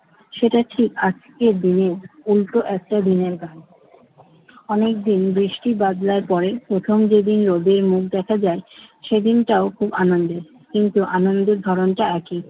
সেটা ঠিক। আজকের দিনে উল্টো একটা দিনের গান। অনেকদিন বৃষ্টি বাদলার পরে প্রথম যেদিন রোদের মুখ দেখা যায় সেদিনটাও খুব আনন্দের। কিন্তু আনন্দের ধরনটা একই।